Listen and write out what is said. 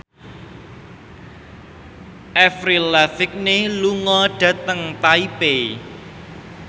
Avril Lavigne lunga dhateng Taipei